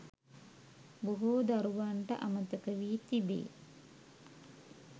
බොහෝ දරුවන්ට අමතක වී තිබේ.